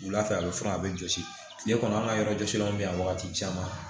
Wula fɛ a bɛ fura a bɛ jɔsi tile kɔnɔ an ka yɔrɔ jɔsilen bɛ yan wagati caman